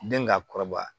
Den ka kɔrɔbaya